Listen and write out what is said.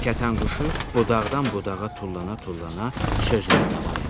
Kətənquşu budaqdan budağa tullana-tullana sözünə davam elədi.